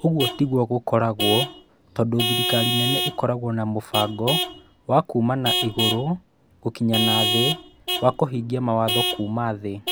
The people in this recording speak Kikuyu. Ũguo tiguo gũkoretwo, tondũ thirikari nene ĩkoragwo na mũbango wa kuuma na igũrũ gũkinya na thĩ wa kũhingia mawatho kuuma thĩ.